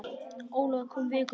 Ólafur kom viku síðar.